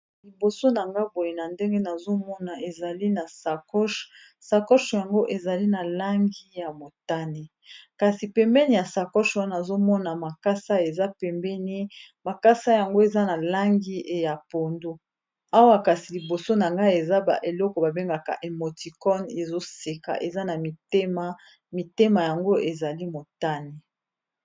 liboso na nga boye na ndenge nazomona ezali na sakoch sakoche yango ezali na langi ya motane kasi pembeni ya sakoch wana azomona makasa eza pembeni makasa yango eza na langi ya pondo awa kasi liboso na ngai eza baeleko babengaka emotikone ezoseka eza na mitema mitema yango ezali motane